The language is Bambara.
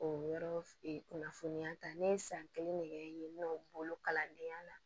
O yɔrɔ kunnafoniya ta ne ye san kelen ne kɛ yen nɔ n bolo kalandenya la